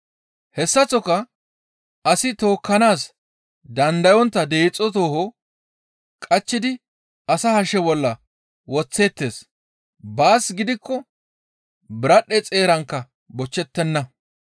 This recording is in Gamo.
«Hessaththoka asi tookkanaas dandayontta deexo tooho qachchidi asa hashe bolla woththeettes; baas gidikko biradhdhe xeerankka bochchettenna.